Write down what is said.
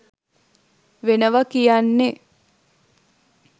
වෙනවා කියන්නේ.